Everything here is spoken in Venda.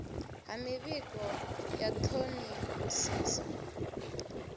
ha mivhigo ya ṱhoḓisiso na